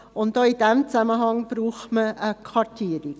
Auch in diesem Zusammenhang braucht man eine Kartierung.